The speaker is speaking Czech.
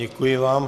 Děkuji vám.